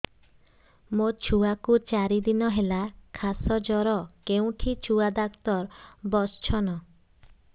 ମୋ ଛୁଆ କୁ ଚାରି ଦିନ ହେଲା ଖାସ ଜର କେଉଁଠି ଛୁଆ ଡାକ୍ତର ଵସ୍ଛନ୍